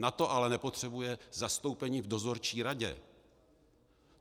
Na to ale nepotřebuje zastoupení v dozorčí radě.